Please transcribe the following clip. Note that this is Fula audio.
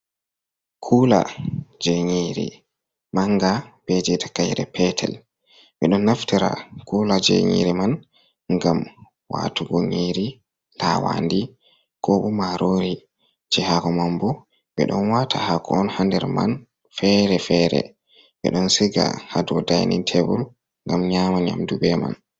Kula jei nyiri manga be je takayre petel. Ɓedon naftira kulaje nyiri man ngam watugo nyiri lawandi, ko bo marori. Je haako man bo, ɓeɗon wata haako ha nder man fere-fere, ɓedon siga ha dou dining table ngam nyama nyamdube man.